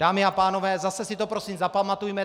Dámy a pánové, zase si to prosím zapamatujme.